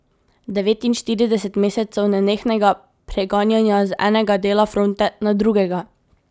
Devetinštirideset mesecev nenehnega preganjanja z enega dela fronte na drugega.